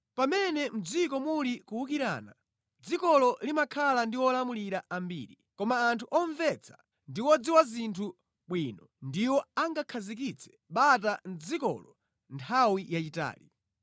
Pamene mʼdziko muli kuwukirana, dzikolo limakhala ndi olamulira ambiri, koma anthu omvetsa ndi odziwa zinthu bwino ndiwo angakhazikitse bata mʼdzikolo nthawi yayitali.